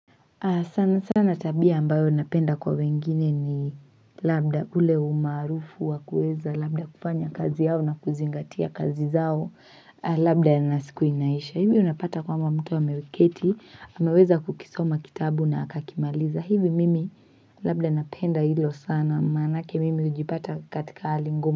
Sana sana tabia ambayo napenda kwa wengine ni labda ule umaarufu wa kuweza labda kufanya kazi yao na kuzingatia kazi zao labda nasiku inaisha hivyo unapata kwamba mtu ameketi ameweza kukisoma kitabu na akakimaliza hivi mimi labda napenda hilo sana maanake mimi hujipata katika hali ngumu.